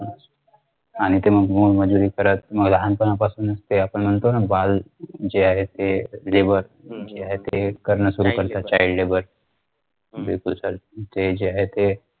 आणि ते मोलमजुरी करत मग लहानपणापासूनच ते म्हणतो ना बाल जे आहे ते labor जे आहे ते ते करणं सुरु करता ना child labor बिलकुल sir जे आहे ते